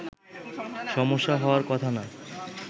সমস্যা হওয়ার কথা না”